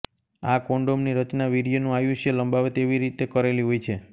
આ કોન્ડોમની રચના વીર્યનું આયુષ્ય લંબાવે તેવી રીતે કરેલી હોય છે